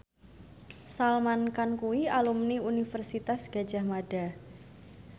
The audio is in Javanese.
Salman Khan kuwi alumni Universitas Gadjah Mada